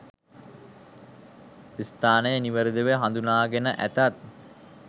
ස්ථානය නිවැරදිව හඳුනාගෙන ඇතත්